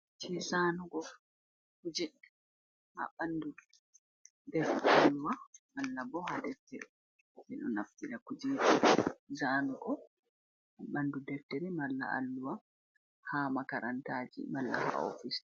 Je zanugo kuje haɓandu deftere alluha, malla bo ha deftere ɓeɗo naftira kujeji zaanugo ha ɓandu deftere, malla alluha ha makarantaji, malla ha ofis.